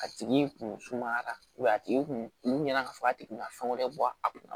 A tigi kun sumayara a tigi kun mɛnna ka fɔ a tigi ka fɛn wɛrɛ bɔ a kun na